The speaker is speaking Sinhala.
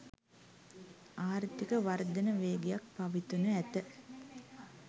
ආර්ථික වර්ධන වේගයක් පවතිනු ඇත